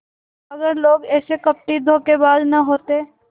अगर लोग ऐसे कपटीधोखेबाज न होते